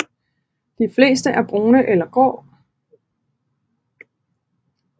De fleste er brune eller grå